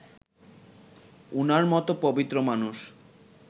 উনার মত পবিত্র মানুষ